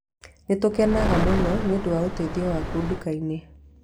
Nĩ tũkenaga mũno nĩ ũndũ wa ũteithio waku nduka-inĩ